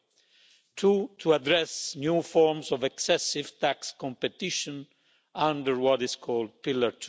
1. Two to address new forms of excessive tax competition under what is called Pillar